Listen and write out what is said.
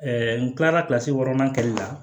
n kilala wɔɔrɔnan kɛli la